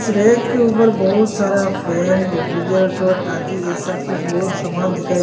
इस रैक के ऊपर बहुत सारा फैन रेफ्रिजरेटर आदि ऐसा कुछ बोथ सामान दिखाएं--